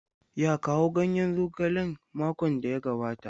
Ya kawo ganyen zogalen makon da ya gabata?